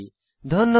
ধন্যবাদ